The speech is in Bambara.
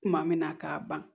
Kuma min na k'a ban